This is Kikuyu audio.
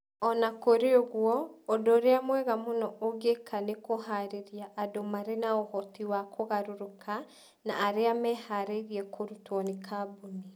O na kũrĩ ũguo, ũndũ ũrĩa mwega mũno ũngĩka nĩ kũhaarĩria andũ marĩ na ũhoti wa kũgarũrũka na arĩa meharĩirie kũrutwo nĩ kambuni.